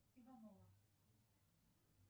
иванова